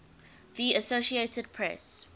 the associated press